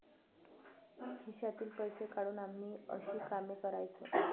खिशातील पैसे काढून आम्ही अशी कामे करायचो.